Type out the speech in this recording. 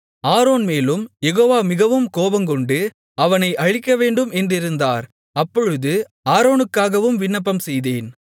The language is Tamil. ஆரோன் மேலும் யெகோவா மிகவும் கோபங்கொண்டு அவனை அழிக்கவேண்டும் என்றிருந்தார் அப்பொழுது ஆரோனுக்காகவும் விண்ணப்பம்செய்தேன்